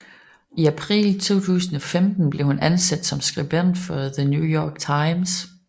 I april 2015 blev hun ansat som skribent for The New York Times